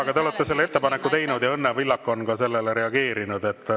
Aga te olete selle ettepaneku teinud ja Õnne Pillak on ka sellele reageerinud.